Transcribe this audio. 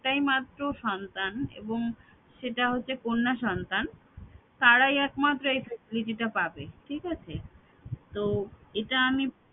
একটাই মাত্র সন্তান এবং সেটা হচ্ছে কন্যা সন্তান তারাই একমাত্র এই facility টা পাবে ঠিক আছে তো এটা আমি